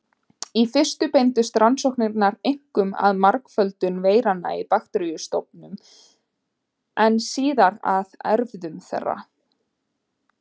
Í fyrstu beindust rannsóknirnar einkum að margföldun veiranna í bakteríustofnum en síðar að erfðum þeirra.